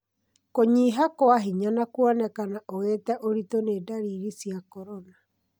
Kũnyiha kwa hinya na kũonekana ũgĩte ũritũ nĩ ndariri cia corona.